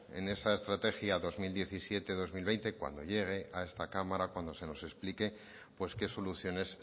en esa estrategia dos mil diecisiete dos mil veinte cuando llegue a esta cámara cuando se nos explique pues qué soluciones